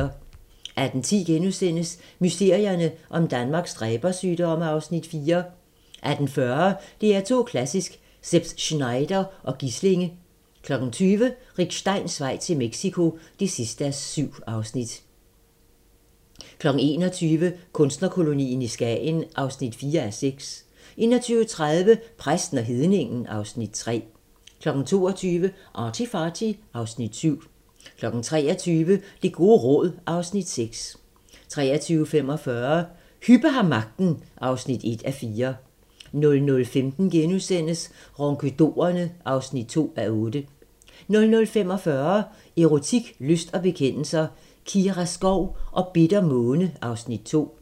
18:10: Mysterierne om Danmarks dræbersygdomme (Afs. 4)* 18:40: DR2 Klassisk: Szeps-Znaider & Gislinge 20:00: Rick Steins vej til Mexico (7:7) 21:00: Kunstnerkolonien i Skagen (4:6) 21:30: Præsten og hedningen (Afs. 3) 22:00: ArtyFarty (Afs. 7) 23:00: Det gode råd (Afs. 6) 23:45: Hübbe har magten (1:4) 00:15: Ronkedorerne (2:8)* 00:45: Erotik, lyst og bekendelser - Kira Skov og Bitter Måne (Afs. 2)